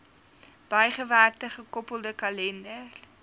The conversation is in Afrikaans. bygewerkte gekoppelde kalender